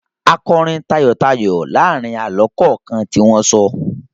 A kọrin tayọ̀tayọ̀ láàárin àlọ́ kọ̀ọ̀kan tí wọ́n sọ.